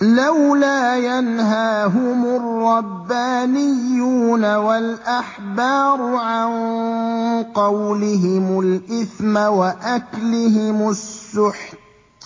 لَوْلَا يَنْهَاهُمُ الرَّبَّانِيُّونَ وَالْأَحْبَارُ عَن قَوْلِهِمُ الْإِثْمَ وَأَكْلِهِمُ السُّحْتَ ۚ